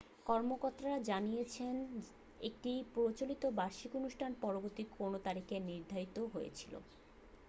কর্মকর্তারা জানিয়েছেন একটি প্রচলিত বার্ষিক অনুষ্ঠান পরবর্তী কোনও তারিখে নির্ধারিত হয়েছিল